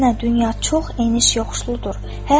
Əksinə dünya çox eniş-yoxuşludur.